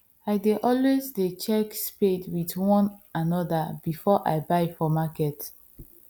i dey always dey check spade with one another before i buy for market